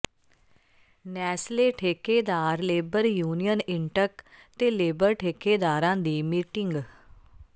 Nestle ਠੇਕੇਦਾਰ labour union INTUC ਤੇ labour ਠੇਕੇਦਾਰਾਂ ਦੀ ਮੀਟਿੰਗ